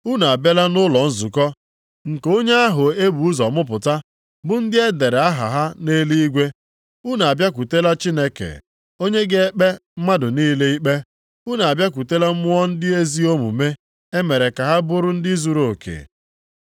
Unu abịala nʼụlọ nzukọ nke onye ahụ ebu ụzọ mụpụta bụ ndị e dere aha ha nʼeluigwe. Unu abịakwutela Chineke, onye ga-ekpe mmadụ niile ikpe, unu abịakwutela mmụọ ndị ezi omume e mere ka ha bụrụ ndị zuruoke.